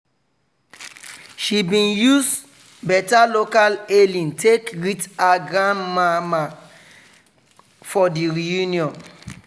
she bin use beta local hailing take greet her grand mama for the reunion.